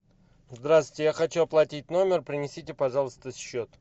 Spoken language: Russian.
здравствуйте я хочу оплатить номер принесите пожалуйста счет